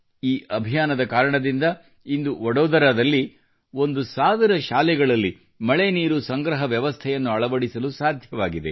ಈ ಅಭಿಯಾನದ ಕಾರಣದಿಂದ ಇಂದು ವಡೋದರಲ್ಲಿ ಒಂದು ಸಾವಿರ ಶಾಲೆಗಳಲ್ಲಿ ಮಳೆ ನೀರು ಸಂಗ್ರಹ ವ್ಯವಸ್ಥೆಯನ್ನು ಅಳವಡಿಸಲು ಸಾಧ್ಯವಾಗಿದೆ